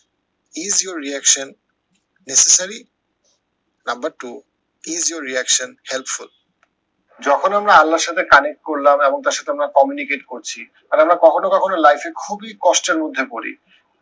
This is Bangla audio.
is your reaction necessary number two is your reaction helpful যখন আমরা আল্লাহর সাথে connect করলাম এবং তার সাথে আমরা communicate করছি আর আমরা life এ কখনো কখনো খুবই কষ্টের মধ্যে পড়ি